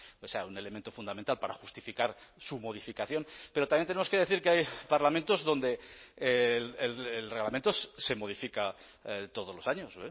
o sea un elemento fundamental para justificar su modificación pero también tenemos que decir que hay parlamentos donde el reglamento se modifica todos los años